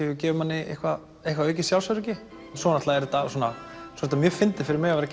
gefur manni eitthvað eitthvað aukið sjálfsöryggi svo er þetta mjög fyndið fyrir mig að